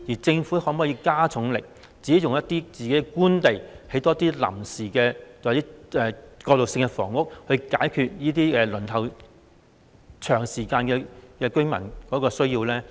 政府可否加重力度，運用自己的官地，多興建臨時或過渡性房屋，以解決長時間輪候公屋的居民的需要呢？